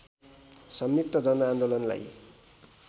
संयुक्त जनआन्दोलनलाई